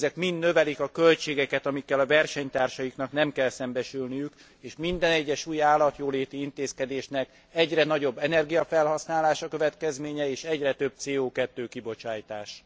Ezek mind növelik a költségeket, amikkel a versenytársaiknak nem kell szembesülniük és minden egyes új állatjóléti intézkedésnek egyre nagyobb energiafelhasználás a következménye és egyre több CO2 kibocsátás.